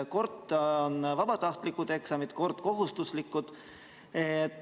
Kord on eksamid vabatahtlikud, kord kohustuslikud.